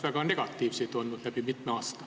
Väga negatiivseid näiteid on ju olnud mitmel aastal.